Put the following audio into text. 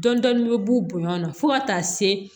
Dɔnni bɛ b'u bonya na fo ka taa se